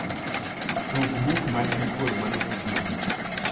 tug buk man giduolmanotug mogik